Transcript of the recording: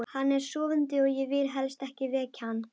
Hann er sofandi og ég vil helst ekki vekja hann.